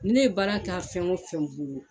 Ne baara k'a fɛn o fɛn bolo